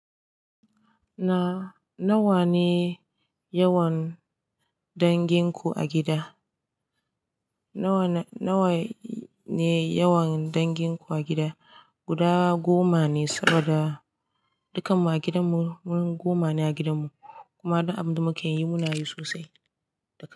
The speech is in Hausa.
Na, nawa ne yawan dangin ku a gida? Nawa, nawa ne yawan dangin ku a gida? Guda goma ne saboda dukan mu a gidan mu, mu goma ne a gidan mu kuma duk abinda mukayi munayi sosai da kai.